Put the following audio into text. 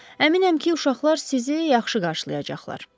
Əminəm ki, uşaqlar sizi yaxşı qarşılayacaqlar.